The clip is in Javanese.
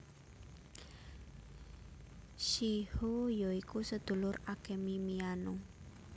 Shiho ya iku sedulur Akemi Miyano